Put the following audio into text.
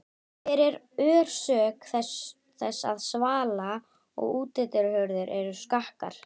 Hver er orsök þess að svala- og útihurðir eru skakkar?